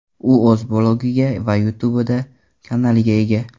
U o‘z blogiga va YouTube’da kanaliga ega.